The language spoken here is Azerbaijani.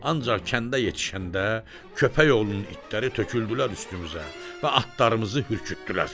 Ancaq kəndə yetişəndə köpək oğlunun itləri töküldülər üstümüzə və atlarımızı hürkütdülər.